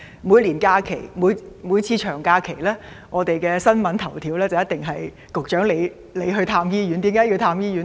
每逢長假期，新聞的頭條報道一定是局長你往訪各大醫院，為何要如此？